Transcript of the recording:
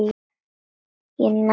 ég nægði ekki.